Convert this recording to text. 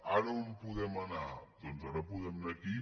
ara on podem anar doncs ara podem anar aquí